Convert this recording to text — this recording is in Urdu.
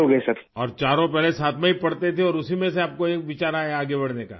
اور چاروں پہلے ساتھ میں ہی پڑھتے تھے اور اسی میں سے آپ کو ایک خیال آیا آگے بڑھنے کا